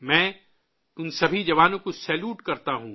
میں ان سبھی جوانوں کو سیلوٹ کرتا ہوں